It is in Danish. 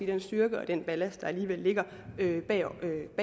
den styrke og den ballast der alligevel ligger